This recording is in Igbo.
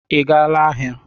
Ị gaala aha?